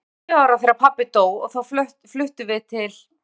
Ég var tíu ára þegar pabbi dó og þá fluttum við til